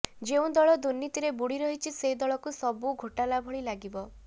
ଯେଉଁ ଦଳ ଦୁର୍ନୀତିରେ ବୁଡ଼ି ରହିଛି ସେ ଦଳକୁ ସବୁ ଘୋଟାଲା ଭଳି ଲାଗିବ